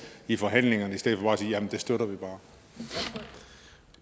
i forhandlingerne i stedet for bare at sige jamen det støtter